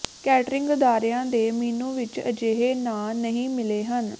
catering ਅਦਾਰਿਆਂ ਦੇ menu ਵਿਚ ਅਜਿਹੇ ਨਾਂ ਨਹੀਂ ਮਿਲੇ ਹਨ